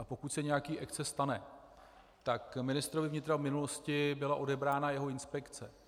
A pokud se nějaký exces stane, tak ministrovi vnitra v minulosti byla odebrána jeho inspekce.